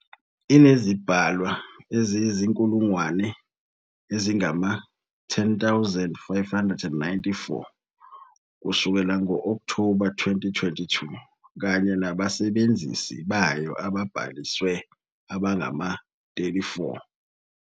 Inezibhalwa eziyizinkulungwane ezingama-10,594 kusukela ngo- October 2022 kanye nabasebenzisi bayo ababhalisiwe abangama- 34.